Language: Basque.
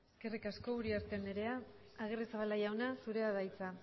eskerrik asko uriarte andrea agirrezabala jauna zurea da hitza